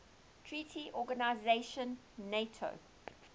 treaty organization nato